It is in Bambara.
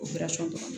O